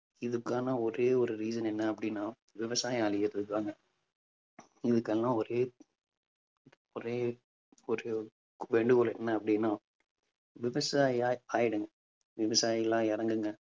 இதுக்கான ஒரே ஒரு reason என்ன அப்பிடின்னா விவசாயம் அழியறதுதாங்க இதுக்கெல்லாம் ஒரே ஒரே ஒரு வேண்டுகோள் என்ன அப்பிடின்னா விவசாயியா ஆயிடுங்க. விவசாயிகளா இறங்குங்க.